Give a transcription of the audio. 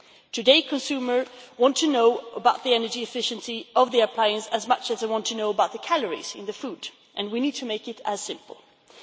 Today, consumers want to know about the energy efficiency of appliances as much as they want to know about the calories in food, and we need to make it as simple as that.